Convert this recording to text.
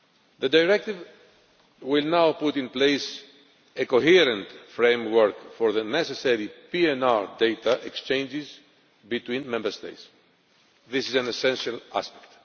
The Directive will now put in place a coherent framework for the necessary PNR data exchanges between Member States. This is an essential aspect.